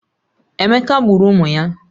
Emeka gburu ụmụ ya